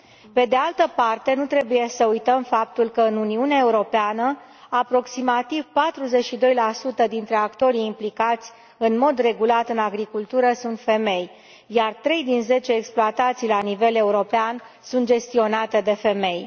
Pe de altă parte, nu trebuie să uităm faptul că, în Uniunea Europeană, aproximativ 42 dintre actorii implicați în mod regulat în agricultură sunt femei, iar trei din zece exploatații la nivel european sunt gestionate de femei.